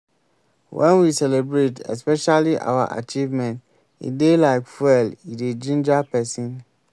when we celebrate especially our achievement e dey like fuel e dey ginger person